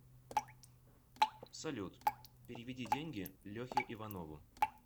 салют переведи деньги лехе иванову